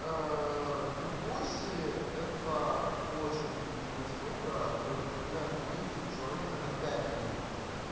кукуси это очень офигительная штука то есть позволяет замучить человека на пять минут